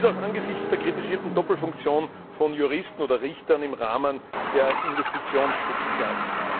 Dies auch angesichts der Doppelfunktion von Juristen oder Richtern im Rahmen der Investitionsschutzklagen.